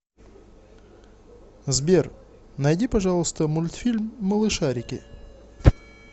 сбер найди пожалуйста мультфильм малышарики